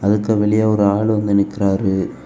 அதுக்கு வெளியே ஒரு ஆள் வந்து நிக்கறாரு.